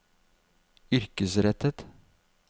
yrkesrettet